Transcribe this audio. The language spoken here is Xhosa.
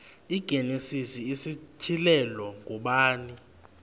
igenesis isityhilelo ngubani